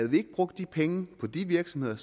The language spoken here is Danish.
vi ikke brugt penge på de virksomheder